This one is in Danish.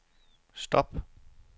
stop